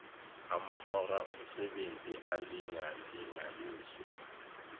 amahora omsebenzi alingalinganiswe